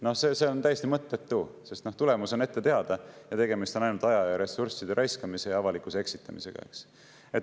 Noh, see on täiesti mõttetu, sest tulemus on ette teada ja tegemist on ainult aja ja ressursside raiskamise ning avalikkuse eksitamisega.